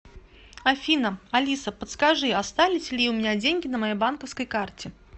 афина алиса подскажи остались ли у меня деньги на моей банковской карте